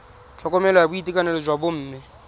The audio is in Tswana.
tlhokomelo ya boitekanelo jwa bomme